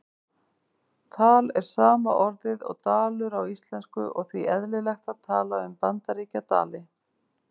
Tal er sama orðið og dalur á íslensku og því eðlilegt að tala um Bandaríkjadali.